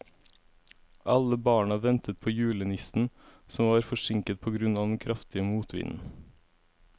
Alle barna ventet på julenissen, som var forsinket på grunn av den kraftige motvinden.